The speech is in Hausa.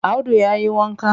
Audu ya yi wanka?